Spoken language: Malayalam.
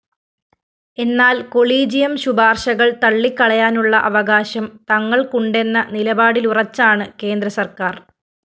എന്നാല്‍ കൊളീജിയം ശുപാര്‍ശകള്‍ തള്ളിക്കളയാനുള്ള അവകാശം തങ്ങള്‍ക്കുണ്ടെന്ന നിലപാടിലുറച്ചാണ് കേന്ദ്രസര്‍ക്കാര്‍